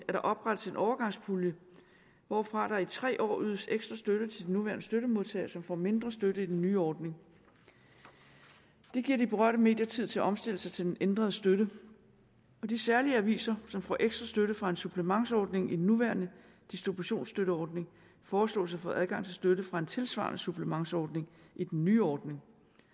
at der oprettes en overgangspulje hvorfra der i tre år ydes ekstra støtte til den nuværende støttemodtager som får mindre støtte i den nye ordning det giver de berørte medier tid til at omstille sig til den ændrede støtte og de særlige aviser som får ekstra støtte fra en supplementsordning i den nuværende distributionsstøtteordning foreslås at få adgang til støtte fra en tilsvarende supplementsordning i den nye ordning